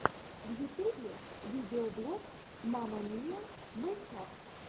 в ютубе видеоблог мама миа мэйкап